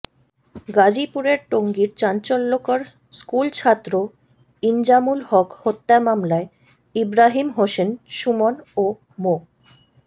গাজীপুরের টঙ্গীর চাঞ্চল্যকর স্কুলছাত্র ইনজামুল হক হত্যা মামলায় ইব্রাহিম হোসেন সুমন ও মো